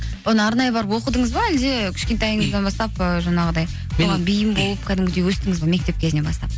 бұны арнайы барып оқыдыңыз ба әлде кішкентайыңыздан бастап ы жаңағыдай соған биім болып кәдімгідей өстіңіз бе мектеп кезінен бастап